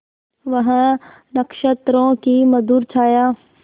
वह नक्षत्रों की मधुर छाया